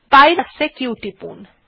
বাইরে আসতে q টিপুন